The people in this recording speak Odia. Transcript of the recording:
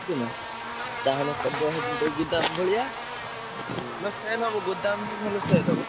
ବୁଝୁଛନା ତାହେଲେ କରିଦବା ସେଠି ଗୋଟେ ଗୋଦାମ ଭଳିଆ ନା sale ହବ ଗୋଦାମ ହଉ ଭଲ sale ହବ।